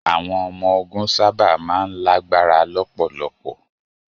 Àwọn ọmọ-ogun sábà máa ń ṣe ọ̀pọ̀lọpọ̀ ọ̀pọ̀lọpọ̀ ọ̀pọ̀lọpọ̀